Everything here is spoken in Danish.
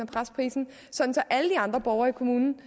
presse prisen sådan at alle de andre borgere i kommunen